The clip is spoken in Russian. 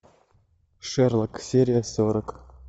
шерлок серия сорок